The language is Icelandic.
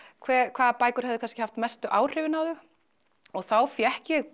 hvaða bækur hefðu haft mestu áhrifin á þau og þá fékk ég